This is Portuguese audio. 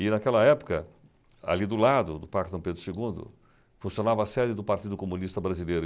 E, naquela época, ali do lado do Parque Dom Pedro Segundo, funcionava a sede do Partido Comunista Brasileiro.